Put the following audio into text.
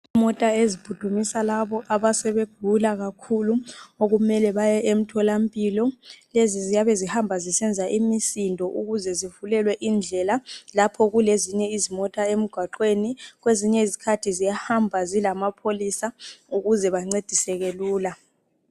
Imota eziphuthumisa labo asebe gula kakhulu okumele baye emthola mpilo lezi ziyabe zihamba zisenza imisindo ukuze zivulelwe indlela lapho kule zinye izimota emgwaqweni ,kwezinye izikhathi ziya hamba zilamapholisa ukuze bancediseke lula .